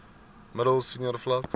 middel senior vlak